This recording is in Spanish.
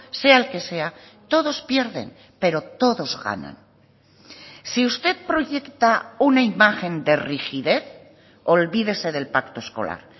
sea el que sea todos pierden pero todos ganan si usted proyecta una imagen de rigidez olvídese del pacto escolar